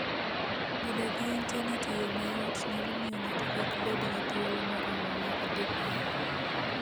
Bedo gi Intanet e yo mayot nyalo miyo ng'ato kik bed gi thuolo moromo mar dhi bayo.